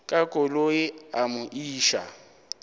ka koloi a mo iša